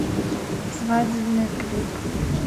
свадебный клип